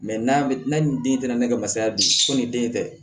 n'a ni den tɛmɛnen ka masaya bi ko ni den tɛ